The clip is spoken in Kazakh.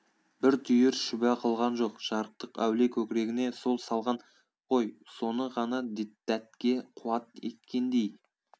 бір түйір шүбә қылған жоқ жарықтық әулие көкірегіне сол салған ғой соны ғана дәтке қуат еткендей